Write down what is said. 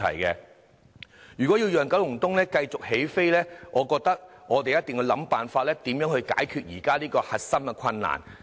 如果要讓九龍東繼續起飛，我覺得我們一定要想辦法解決現時的核心困難。